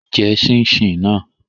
Jẹ ṣíín-ṣiìn náà!